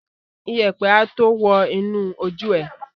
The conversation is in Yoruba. Iyẹ̀pẹ̀ a tó wọ́ inú ojú ẹ.